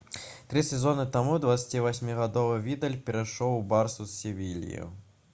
тры сезоны таму 28-гадовы відаль перайшоў у «барсу» з «севільі»